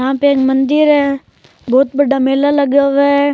यहाँ पे एक मंदिर है बहुत बड़ा मेला लगा हुआ है।